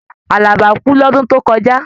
Àlàbá kú lọ́dún tó kọjá.